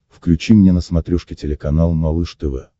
включи мне на смотрешке телеканал малыш тв